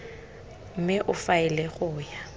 mme o faele go ya